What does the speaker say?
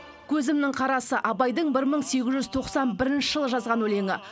көзімнің қарасы абайдың бір мың сегіз жүз тоқсан бірінші жылы жазған өлеңі